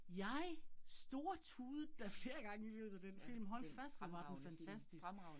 Jeg stortudede da flere gange i løbet af den film, hold fast, hvor var den fantastisk